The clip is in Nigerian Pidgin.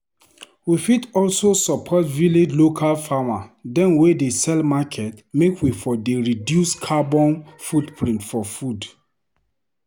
We fit also support village local farmer dem wey dey sell market make we for dey reduce carbon footprint for food.